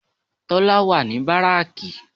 Tólá wà ní báráàkì